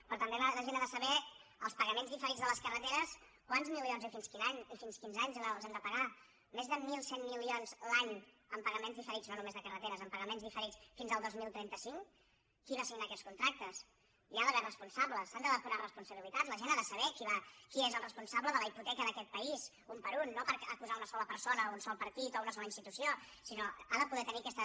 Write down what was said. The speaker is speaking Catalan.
però també la gent ha de saber els pagaments diferits de les carreteres quants milions i fins quin any i fins quins anys els hem de pagar més de mil cent milions l’any en pagaments diferits no només de carreteres en pagaments diferits fins el dos mil trenta cinc qui va signar aquests contractes hi ha d’haver responsables s’han de depurar responsabilitats la gent ha de saber qui és el responsable de la hipoteca d’aquest país un per un no per acusar una sola persona un sol partit o una sola institució sinó que ha de poder tenir aquesta